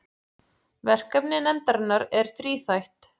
Verkefni nefndarinnar er þríþætt